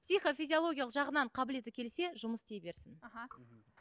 психо физиологиялық жағынан қабілеті келсе жұмыс істей берсін аха